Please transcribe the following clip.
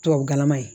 Tubabukalan ye